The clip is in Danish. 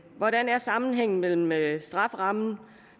hvordan er sammenhængen mellem mellem strafferammen